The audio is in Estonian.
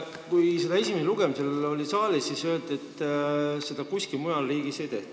Kui see oli siin saalis esimesel lugemisel, siis öeldi, et seda kuskil mujal riigis ei tehta.